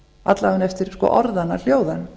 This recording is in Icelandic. alla vega eftir orðanna hljóðan